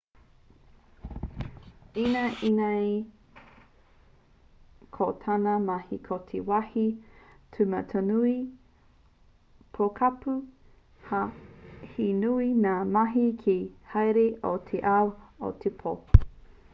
ināianei ko tāna mahi ko te wāhi tūmatanui pokapū ā he nui ngā mahi kei te haere i te ao i te pō